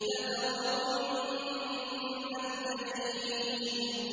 لَتَرَوُنَّ الْجَحِيمَ